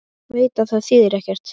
Veit að það þýðir ekkert.